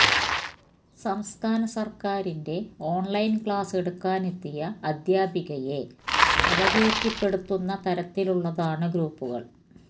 സംസ്ഥാന സർക്കാരിന്റെ online class എടുക്കാനെത്തിയ അധ്യാപികയെ അപകീർത്തിപ്പെടുത്തുന്ന തരത്തിലുള്ളതാണ് ഗ്രൂപ്പുകൾ